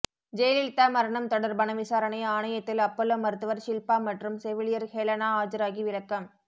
ஜெயலலிதா மரணம் தொடர்பான விசாரணை ஆணையத்தில் அப்பலோ மருத்துவர் ஷில்பா மற்றும் செவிலியர் ஹெலனா ஆஜராகி விளக்கம்